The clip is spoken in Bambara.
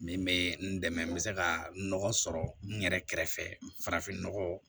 Min bɛ n dɛmɛ n bɛ se ka nɔgɔ sɔrɔ n yɛrɛ kɛrɛfɛ farafinnɔgɔ